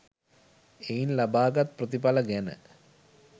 එයින් ලබාගත් ප්‍රතිඵල ගැන